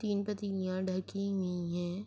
تین پتلیا ڈھکی ہوئی ہے۔